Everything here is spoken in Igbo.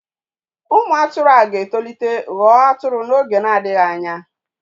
Ụmụ atụrụ a ga-etolite ghọọ atụrụ n'oge na-adịghị anya.